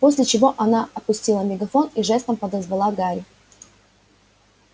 после чего она опустила мегафон и жестом подозвала гарри